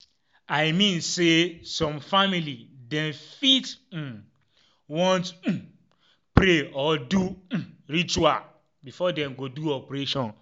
i mean say some family dem fit um want um pray or do um ritual before dem go do operation